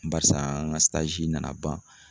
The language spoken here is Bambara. Barisa an ka nana ban